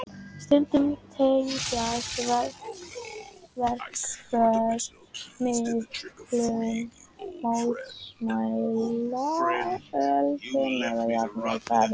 Stundum tengjast verkföll miklum mótmælaöldum eða jafnvel byltingarhreyfingum.